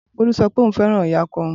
Bolu sọ pé òun fẹ́ràn ìyá ọkọ òun.